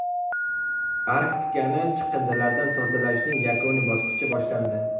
Arktikani chiqindilardan tozalashning yakuniy bosqichi boshlandi.